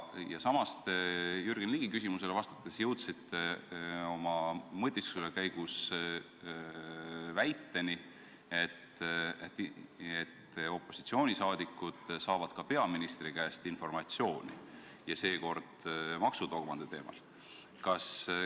Samas, Jürgen Ligi küsimusele vastates jõudsite te oma mõtiskluse käigus väiteni, et opositsiooniliikmed saavad ka peaministri käest informatsiooni ja seekord maksudogmade teemal.